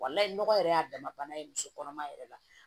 Walayi nɔgɔ yɛrɛ y'a dama ye muso kɔnɔma yɛrɛ la